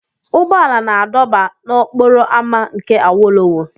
Ụgbọ ala na-adọba n'okporo ámá nke awolowo.